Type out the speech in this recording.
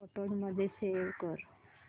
photos मध्ये save कर